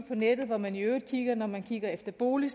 på nettet hvor man i øvrigt kigger når man kigger efter bolig